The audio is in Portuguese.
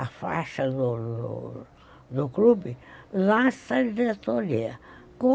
a faixa do do clube, lá está a diretoria.